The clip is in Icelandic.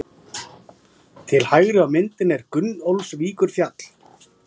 Til hægri á myndinni er Gunnólfsvíkurfjall.